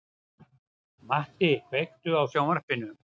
Matti, kveiktu á sjónvarpinu.